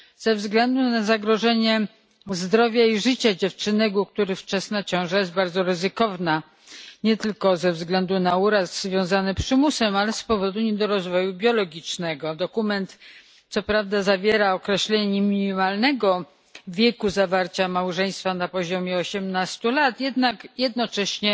ze względu na zagrożenie zdrowia i życia dziewczynek, u których wczesna ciąża jest bardzo ryzykowna nie tylko ze względu na uraz związany z przymusem, ale i z powodu niedorozwoju biologicznego. Dokument co prawda zawiera określenie minimalnego wieku zawarcia małżeństwa wynoszącego osiemnaście lat, jednak jednocześnie